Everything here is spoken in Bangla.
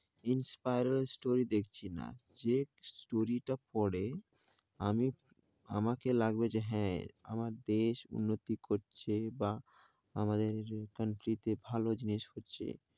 inspire হয়ে story দেখছি না যে story তা পরে আমি আমাকে লাগবে যে হ্যাঁ আমার দেশ উন্নতি করছে বা আমাদের country তে ভালো জিনিস হচ্ছে।